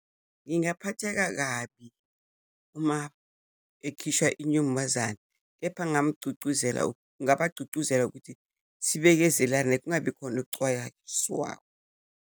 Ngingaphatheka kabi uma ekhishwa inyumbazane, kepha ngingamgcugcuzela, ngingabagcugcuzela ukuthi sibekezelane, kungabi khona ukucwayaswa.